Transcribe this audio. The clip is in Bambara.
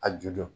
A ju don